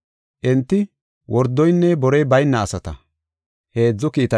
Enti wordoynne borey bayna asata.